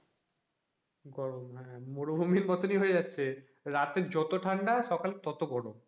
হ্যাঁ, গরম মরুভূমির মতোনই হয়ে যাচ্ছে রাতে যত ঠান্ডা সকাল ততো গরম,